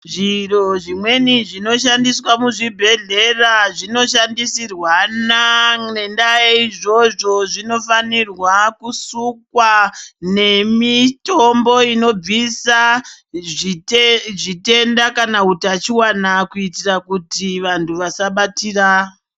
Zviro zvimweni zvinoshandiswa muzvibhedhlera zvinoshandisirwana. Ngendaa yeizvozvo, zvinofanirwa kusukwa nemitombo inobvisa zvitenda kana utachiona kuitira kuti vantu vasabatira.